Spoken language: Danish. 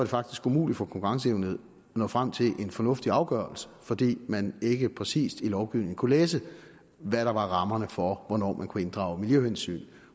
faktisk umuligt for konkurrencenævnet at nå frem til en fornuftig afgørelse fordi man ikke præcis i lovgivningen kunne læse hvad der var rammerne for hvornår man kunne inddrage miljøhensyn